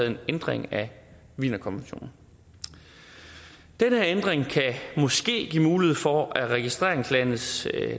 en ændring af wienerkonventionen den ændring kan måske give mulighed for at registreringslandets